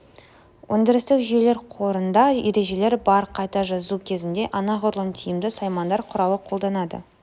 өдірістік жүйелер қорында ережелер бар қайта жазу кезінде анағұрлым тиімді саймандар құралын қолданады